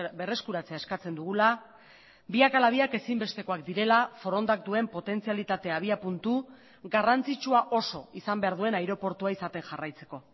berreskuratzea eskatzen dugula biak ala biak ezinbestekoak direla forondak duen potentzialitate abiapuntu garrantzitsua oso izan behar duen aireportua izaten jarraitzeko